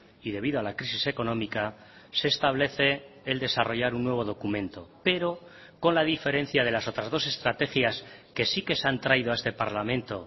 y debido a la crisis económica se establece el desarrollar un nuevo documento pero con la diferencia de las otras dos estrategias que sí que se han traído a este parlamento